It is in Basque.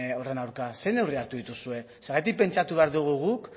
horren aurka zer neurri hartu dituzue zergatik pentsatu behar dugu guk